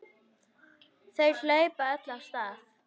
Þau hlaupa öll af stað.